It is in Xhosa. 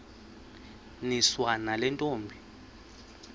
niswa nale ntombi